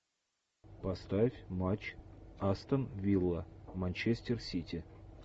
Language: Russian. поставь матч астон вилла манчестер сити